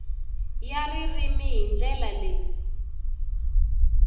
ya ririmi hi ndlela leyi